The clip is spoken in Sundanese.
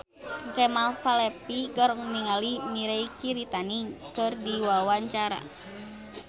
Kemal Palevi olohok ningali Mirei Kiritani keur diwawancara